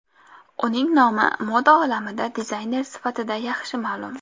Uning nomi moda olamida dizayner sifatida yaxshi ma’lum.